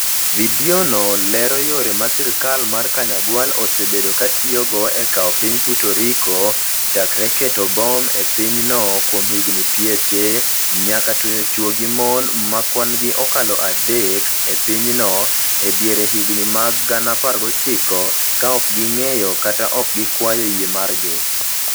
Vidiono lero yore ma sirkal mar Kanyagwal osebedo ka tiyogo e kawo piny Puerto Rico, chakre keto bom e pinyno kuom higini pieche, nyaka tweyo chwo gi mon ma kwan-gi okalo adek e pinyno e dier higini mag 1900, ka ok ging'eyo kata ok gikwayo yie margi.